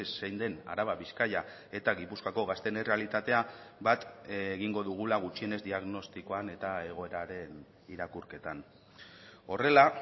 zein den araba bizkaia eta gipuzkoako gazteen errealitatea bat egingo dugula gutxienez diagnostikoan eta egoeraren irakurketan horrela